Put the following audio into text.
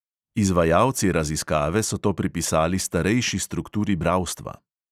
Izvajalci raziskave so to pripisali starejši strukturi bralstva.